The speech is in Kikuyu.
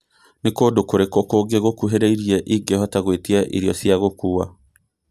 Nĩ kũndũ kũ kũrĩkũ kũngĩ gũkuhĩrĩirie ingĩhota gwĩtia irio cia gũkuua